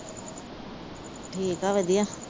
ਠੀਕ ਆ ਵਧੀਆ।